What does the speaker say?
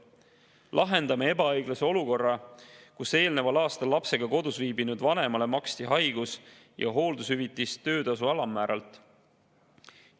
Lahendame ebaõiglase olukorra, kus eelneval aastal lapsega kodus viibinud vanemale makstakse haigus- ja hooldushüvitist töötasu alammäära järgi.